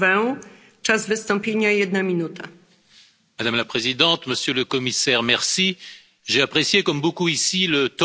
Madame la Présidente, Monsieur le Commissaire, j'ai apprécié, comme beaucoup ici, le torrent de bonnes intentions qui peuplent ce rapport.